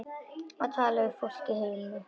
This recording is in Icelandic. Að tala við fólkið heima.